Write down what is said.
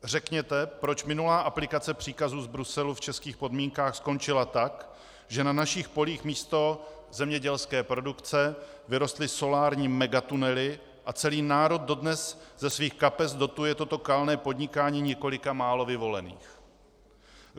Řekněte, proč minulá aplikace příkazu z Bruselu v českých podmínkách skončila tak, že na našich polích místo zemědělské produkce vyrostly solární megatunely a celý národ dodnes ze svých kapes dotuje toto kalné podnikání několika málo vyvolených.